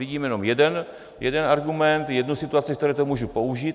Vidíme jenom jeden argument, jednu situaci, v které to můžu použít.